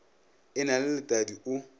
e na le letadi o